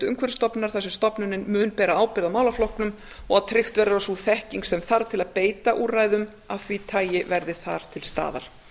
umhverfisstofnunar þar sem stofnunin mun bera ábyrgð á málaflokknum og að tryggt verður að sú þekking sem til þarf til að beita úrræðum af þessu tagi verði þar til staðar